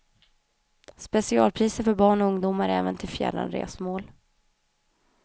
Specialpriser för barn och ungdomar även till fjärran resmål.